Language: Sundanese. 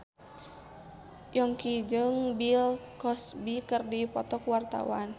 Yongki jeung Bill Cosby keur dipoto ku wartawan